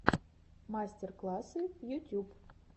мастер классы ютюб